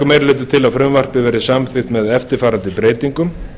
meiri hlutinn leggur til að frumvarpið verði samþykkt með eftirfarandi breytingum